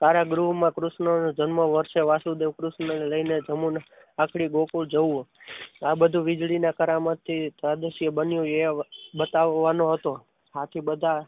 કારા ગૃહમાં કૃષ્ણનો જન્મ વસે વાસુદેવ કૃષ્ણને લઈને નમુના પાર કરી ગોકુળ જવું આ બધું વીજળીના કરામતથી આ દ્રશ્ય બન્યું એ બતાવવાનો હતો. આથી બધા